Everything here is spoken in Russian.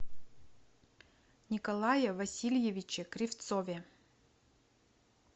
николае васильевиче кривцове